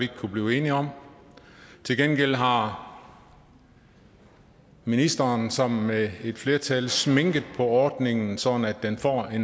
kunnet blive enige om til gengæld har ministeren sammen med et flertal sminket på ordningen sådan at den får